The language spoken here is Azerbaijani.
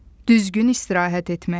Düzgün istirahət etmək.